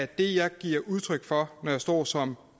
det jeg giver udtryk for når jeg står som